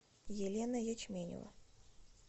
елена ячменева